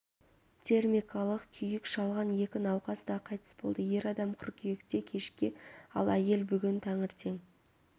термикалық күйік шалған екі науқас та қайтыс болды ер адам қыркүйекте кешке ал әйел бүгін таңертең